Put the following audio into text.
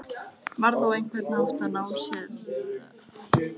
Guðna, hvenær kemur strætó númer fjörutíu og þrjú?